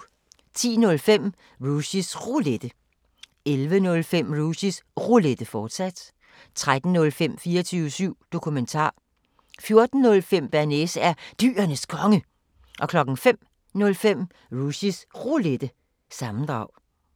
10:05: Rushys Roulette 11:05: Rushys Roulette, fortsat 13:05: 24syv Dokumentar 14:05: Bearnaise er Dyrenes Konge 05:05: Rushys Roulette – sammendrag